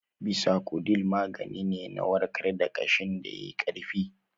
Bisacodyl magani ne na warkar da kaashin da yayi Ƙarfi